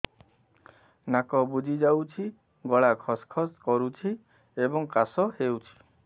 ନାକ ବୁଜି ଯାଉଛି ଗଳା ଖସ ଖସ କରୁଛି ଏବଂ କାଶ ହେଉଛି